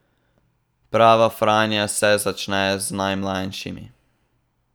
Prava Franja se začne z najmlajšimi.